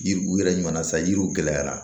Yiri u yɛrɛ ɲuman na sa yiriw gɛlɛyara